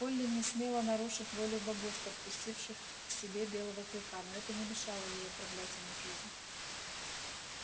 колли не смела нарушить волю богов подпустивших к себе белого клыка но это не мешало ей отравлять ему жизнь